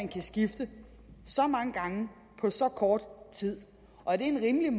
kan skifte så mange gange på så kort tid og er det rimeligt